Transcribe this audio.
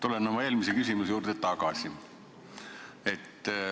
Tulen oma eelmise küsimuse juurde tagasi.